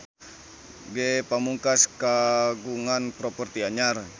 Ge Pamungkas kagungan properti anyar